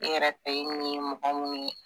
E yɛrɛ fɛ i ɲi ye mɔgɔ minnu ye